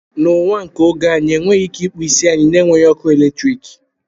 Na ụwa nke oge a anyị enweghị ike ịkpụ isi anyị na-enweghị ọkụ eletrik